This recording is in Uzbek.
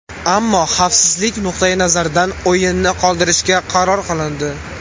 Ammo xavfsizlik nuqtai nazaridan o‘yinni qoldirishga qaror qilindi.